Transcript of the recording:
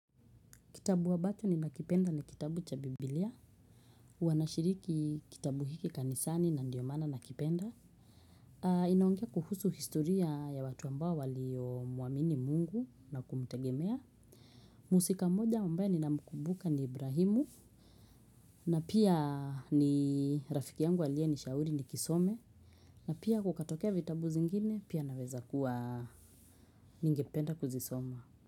Kitabu ambacho ninakipenda ni kitabu cha biblia. Huwa nashiriki kitabu hiki kanisani na ndiyo maana nakipenda. Inaongea kuhusu historia ya watu ambao waliomwamini mungu na kumtegemea. Mhusika mmoja ambaye ninamkumbuka ni Ibrahimu. Na pia ni rafiki yangu aliyeshauri nikisome. Na pia kukatokea vitabu zingine pia naweza kuwa ningependa kuzisoma.